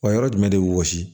Wa yɔrɔ jumɛn de bɛ wɔsi